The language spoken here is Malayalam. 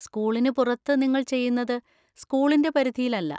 സ്കൂളിന് പുറത്ത് നിങ്ങൾ ചെയ്യുന്നത് സ്കൂളിന്‍റെ പരിധിയില്ലല്ല.